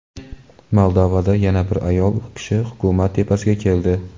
Moldovada yana bir ayol kishi hukumat tepasiga keldi.